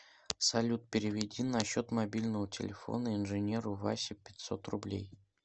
салют переведи на счет мобильного телефона инженеру васе пятьсот рублей